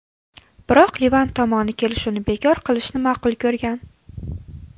Biroq Livan tomoni kelishuvni bekor qilishni ma’qul ko‘rgan.